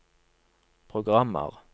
programmer